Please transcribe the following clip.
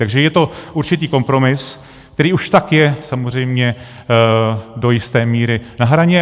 Takže je to určitý kompromis, který už tak je samozřejmě do jisté míry na hraně.